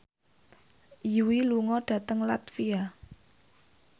Yui lunga dhateng latvia